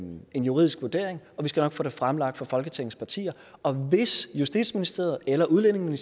en juridisk vurdering og vi skal nok få det fremlagt for folketingets partier og hvis justitsministeriet eller udlændinge